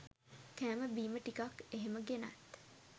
කෑම බීම ටිකක් එහෙම ගෙනත්